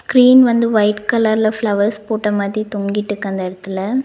Screen வந்து white கலர்ல flowers போட்ட மாதி தொங்கிட்டுக்கு அந்த எடத்துல.